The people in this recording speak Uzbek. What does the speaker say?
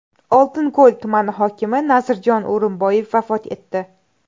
Oltinko‘l tumani hokimi Nazirjon O‘rinboyev vafot etdi.